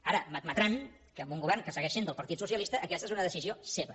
ara m’admetran que amb un govern que segueix sent del partit socialista aquesta és una decisió seva